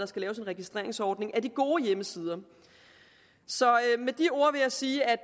skal laves en registreringsordning af de gode hjemmesider med de ord vil jeg sige at